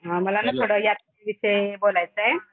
मला ना थोडं यात्रे विषयी बोलायचय